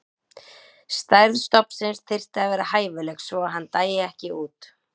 Stærð stofnsins þyrfti að vera hæfileg svo að hann dæi ekki út.